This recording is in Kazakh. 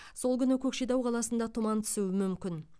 сол күні көкшетау қаласында тұман түсуі мүмкін